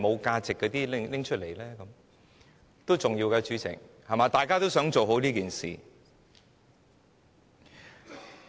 主席，這些都是重要的，因為大家都想做好這件事。